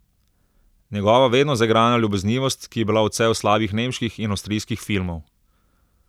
Njegova vedno zaigrana ljubeznivost, ki je bila odsev slabih nemških in avstrijskih filmov!